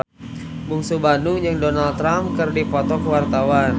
Bungsu Bandung jeung Donald Trump keur dipoto ku wartawan